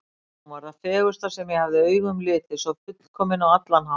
Hún var það fegursta sem ég hafði augum litið, svo fullkomin á allan hátt.